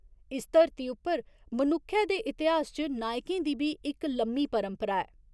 इस धरती उप्पर मनुक्खै दे इतिहास च नायकें दी बी इक लम्मी परंपरा ऐ।